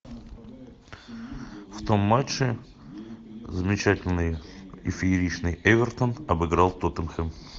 в том матче замечательный и фееричный эвертон обыграл тоттенхэм